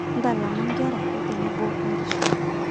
Ntalama inke`rra otenebo inkishu